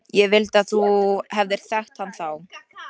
Ég vildi að þú hefðir þekkt hann þá.